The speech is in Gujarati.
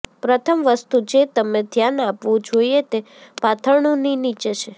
પ્રથમ વસ્તુ જે તમે ધ્યાન આપવું જોઈએ તે પાથરણું ની નીચે છે